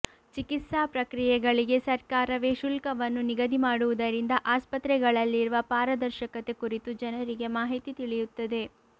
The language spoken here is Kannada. ಚಿಕಿತ್ಸಾ ಪ್ರಕ್ರಿಯೆಗಳಿಗೆ ಸರ್ಕಾರವೇ ಶುಲ್ಕವನ್ನು ನಿಗದಿ ಮಾಡುವುದರಿಂದ ಆಸ್ಪತ್ರೆಗಳಲ್ಲಿರುವ ಪಾರದರ್ಶಕತೆ ಕುರಿತು ಜನರಿಗೆ ಮಾಹಿತಿ ತಿಳಿಯುತ್ತದೆ